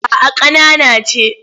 A'a ƙanana ce.